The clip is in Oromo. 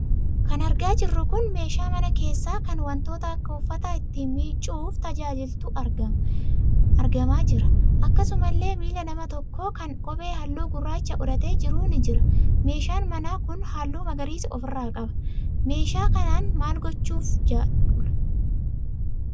Kan argaa jirru kun meeshaa mana keessaa kan wantoota akka uffataa itti miicuuf jajaajilutu argamaa jira. Akkasumallee miila nama tokko kan kophee halluu gurraacha godhatee jiru ni jira. Meeshaan manaa kun halluu magariisa ofirraa qaba. Meeshaa kanaan maal gochuuf jedhulaa?